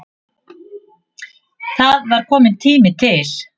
Það var kominn tími til.